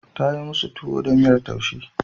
Ta yi musu tuwo da miyar taushe.